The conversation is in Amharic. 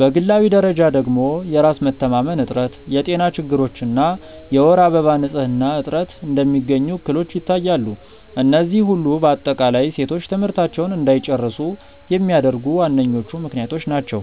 በግላዊ ደረጃ ደግሞ የራስ መተማመን እጥረት፣ የጤና ችግሮች እና የወር አበባ ንፅህና እጥረት እንደሚገኙ እክሎች ይታያሉ፤ እነዚህ ሁሉ በአጠቃላይ ሴቶች ትምህርታቸውን እንዳይጨርሱ የሚያደርጉ ዋነኞቹ ምክንያቶች ናቸው።